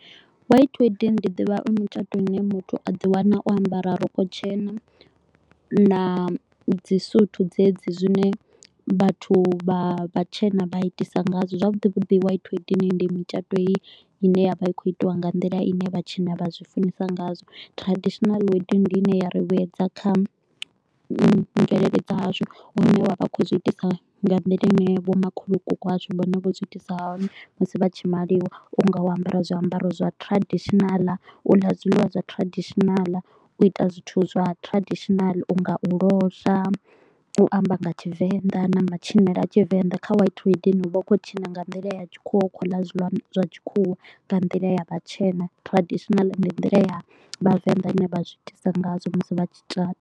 White wedding ndi ḓivha i mitshato ine muthu a ḓi wana o ambara rogo tshena na dzisutu dzedzi zwine vhathu vha vhatshena vha itisa ngazwo. Zwavhuḓi vhuḓi white wedding ndi mitshato heyi ine ya vha i kho u itiwa nga nḓila ine vhatshena vha zwi funesa ngazwo. Traditional wedding ndi ine ya ri vhuyedza kha mvelele dza hashu hune vha vha khou zwi itisa nga nḓila ine vho makhulukuku washu vhone vho zwi itisa hani musi vha tshi maliwa. U nga u ambara zwiambaro zwa traditional, u ḽa zwiḽiwa zwa traditional, u ita zwithu zwa traditional u nga u losha, u amba nga Tshivenḓa na matshinele a Tshivenḓa. Kha white wedding u vha u khou tshina nga nḓila ya tshikhuwa, u khou ḽa zwiḽiwa zwa tshikhuwa nga nḓila ya vhatshena. Traditional ndi nḓila ya vhavenḓa ine vha zwiitisa ngazwo musi vha tshi tshata.